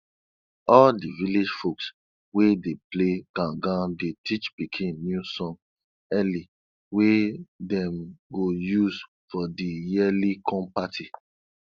all di village folks wey dey play gangan dey teach pikin new song early wey dem go use for di yearly corn party